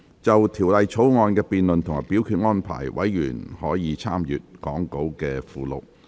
就《條例草案》的辯論及表決安排，委員可參閱講稿附錄。